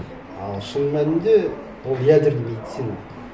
ал шын мәнінде ол ядерная медицина